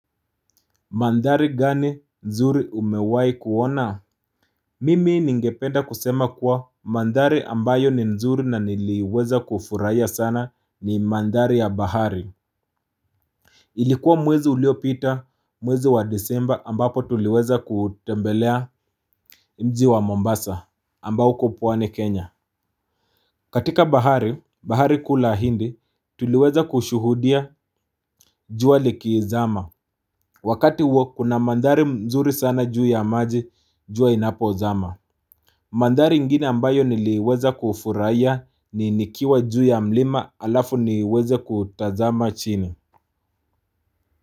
Mandhari gani nzuri umewahi kuona? Mimi ningependa kusema kuwa mandhari ambayo ni nzuri na niliweza kufurahia sana ni mandhari ya bahari. Ilikuwa mwezi uliopita mwezi wa disemba ambapo tuliweza kutembelea mji wa Mombasa ambao uko pwani Kenya. Katika bahari, bahari kuu la hindi, tuliweza kushuhudia jua likizama. Wakati huo kuna mandari mzuri sana juu ya maji, juu inapozama. Mandhari ingine ambayo niliweza kufurahia nikiwa juu ya mlima halafu niweze kutazama chini.